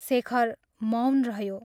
शेखर मौन रह्यो।